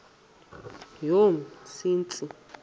yomsintsi